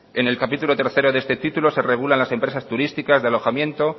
en el capítulo tres de este título se regulan las empresas turísticas de alojamiento